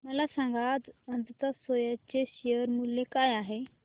मला सांगा आज अजंता सोया चे शेअर मूल्य काय आहे